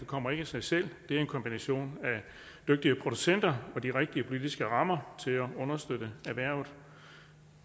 kommer ikke af sig selv det er en kombination af dygtige producenter og de rigtige politiske rammer til at understøtte erhvervet